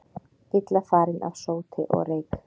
Illa farin af sóti og reyk